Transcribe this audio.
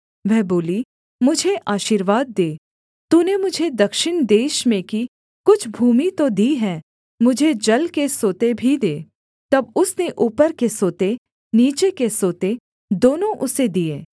वह बोली मुझे आशीर्वाद दे तूने मुझे दक्षिण देश में की कुछ भूमि तो दी है मुझे जल के सोते भी दे तब उसने ऊपर के सोते नीचे के सोते दोनों उसे दिए